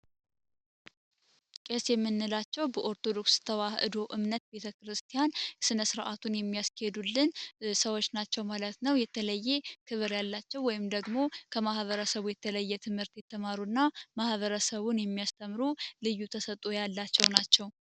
ቄስ የምንላቸው በኦርቶዶክስ ተዋህዶ እምነት ቤተ ክርስቲያን እስነ ሥርዓቱን የሚያስኬሄዱልን ሰዎች ናቸው ማለት ነው። የተለየ ክብር ያላቸው ወይም ደግሞ ከማህበረ ሰቡ የተለየ ትምህርት የተማሩ እና ማህበረሰቡን የሚያስተምሩ ልዩ ተሰጡ ያላቸው ናቸው።